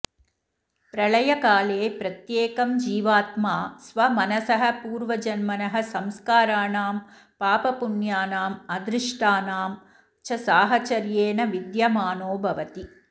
प्रलयकाले प्रत्येकं जीवात्मा स्वमनसः पूर्वजन्मनः संस्काराणां पापपुण्यानां अदृष्टानां च साहचर्येण विद्यमानो भवति